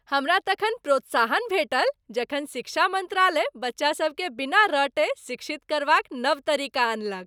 हमरा तखन प्रोत्साहन भेटल जखन शिक्षा मंत्रालय बच्चासभकेँ बिना रटय शिक्षित करबाक नव तरीका अनलक।